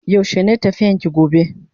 Yaushe ne tafiyan ki gobe?